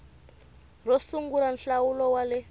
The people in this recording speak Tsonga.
ro sungula nhlawulo wa le